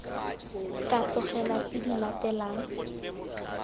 ka tlogelwa tse di latelang